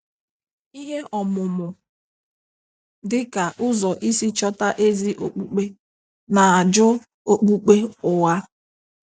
Ihe ọmụmụ dịka "ụzọ isi chọta ezi okpukpe" na- ajụ Okpukpe ụgha.